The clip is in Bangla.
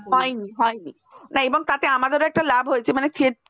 হয়নি হয়নি এবং তাতে আমাদেরও একটা লাভ হয়েছে theater